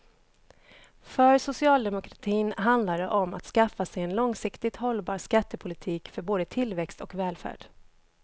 För socialdemokratin handlar det om att skaffa sig en långsiktigt hållbar skattepolitik för både tillväxt och välfärd.